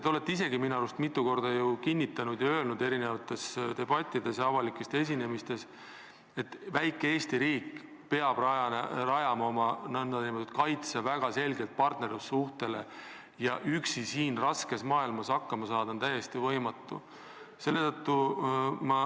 Te olete minu arust mitu korda eri debattides ja avalikes esinemistes kinnitanud, et väike Eesti riik peab rajama oma kaitse väga selgelt partnerlussuhetele, et üksi siin raskes maailmas hakkama saada on täiesti võimatu.